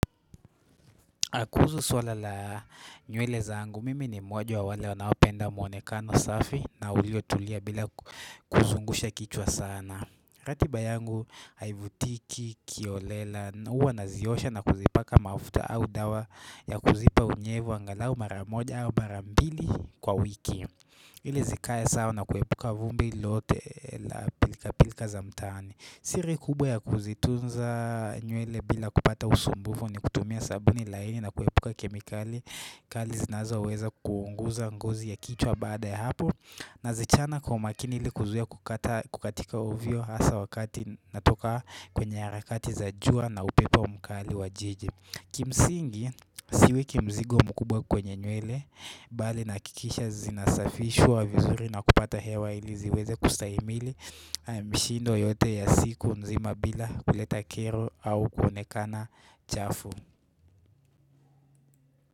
Kuhusu suala la nywele zangu, mimi ni mmoja wa wale wanao penda mwonekano safi na uliotulia bila kuzungusha kichwa sana. Ratiba yangu haivutiki kiolela, uwa naziosha na kuzipaka mafuta au dawa ya kuzipa unyevu angalau maramoja au marambili kwa wiki. Ili zikae sawa na kuepuka vumbi lote la pilka pilka za mtaani. Siri kubwa ya kuzitunza nywele bila kupata usumbufu ni kutumia sabuni laini na kuepuka kemikali kali zinazo weza kuunguza ngozi ya kichwa baada ya hapo na zichana kwa makini ili kuzuia kukatika ovyo hasa wakati natoka kwenye harakati za jua na upepo mkali wa jiji Kimsingi, siwe kimzigo mkubwa kwenye nywele bali nahakikisha zinasafishwa vizuri na kupata hewa iliziweze kustahimili mshindo yote ya siku nzima bila kuleta kero au kuonekana chafu.